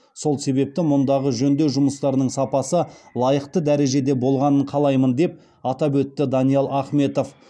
сол себепті мұндағы жөндеу жұмыстарының сапасы лайықты дәрежеде болғанын қалаймын деп атап өтті даниал ахметов